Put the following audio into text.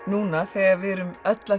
núna þegar við erum öll að